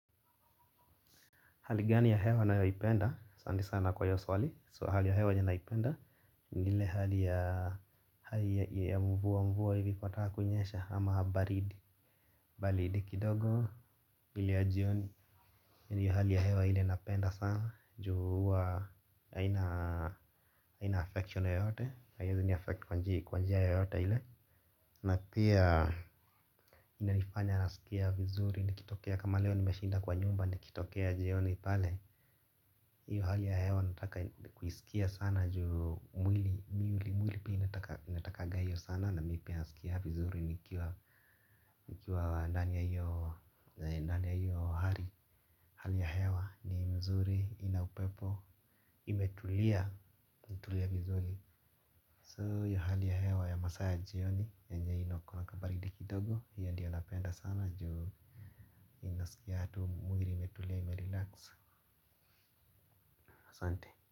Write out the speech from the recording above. Hali gani ya hewa ninayoipenda, asante sana kwa hiyo swali, so hali ya hewa yenye naipenda, ni ile hali ya mvua hivi ikitaka kunyesha ama baridi, baridi kidogo, ile ya jioni, ni ile hali ya hewa ile napenda sana, juu huwa haina affection yeyote, haiwezi ni affect kwa njia yeyote ile, na pia inanifanya nasikia vizuri, nikitokea kama leo nimeshinda kwa nyumba nikitokea jioni pale, hiyo hali ya hewa nataka kuisikia sana juu mwili pia inatakaga hiyo sana na mimi pia nasikia vizuri nikiwa ndani ya hali ya hewa ni mzuri ina upepo imetulia vizuri So hiyo hali ya hewa ya masaa ya jioni yenye inakuwaga baridi kidogo hiyo ndio napenda sana juu inasikia tu mwili imetulia imerelax asante.